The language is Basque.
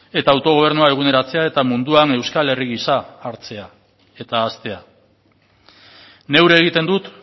eta autogobernua eguneratzea eta munduan euskal herri gisa hartzea eta haztea neure egiten dut